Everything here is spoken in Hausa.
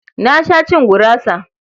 Na sha cin gurasa.